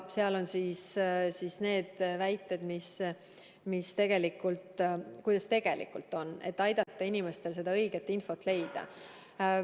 Seal on need väited ja see, kuidas tegelikult on, et aidata inimestel õiget infot leida.